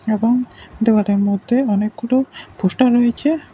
এবং দোকানের মধ্যে অনেক গুলো পোস্টার রয়েছে।